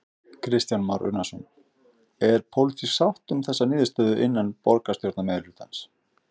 Kristján Már Unnarsson: Er pólitísk sátt um þessa niðurstöðu innan borgarstjórnar meirihlutans?